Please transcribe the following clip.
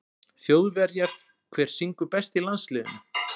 Þjóðverjar Hver syngur best í landsliðinu?